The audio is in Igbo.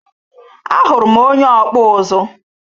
Ahuru m onye ọkpụ ụzụ.